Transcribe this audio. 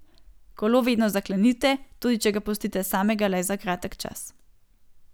Kolo vedno zaklenite, tudi če ga pustite samega le za kratek čas.